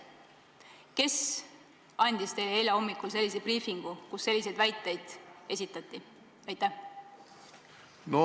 Kes tegi teile eile hommikul sellise briifingu, kus selliseid väiteid esitati?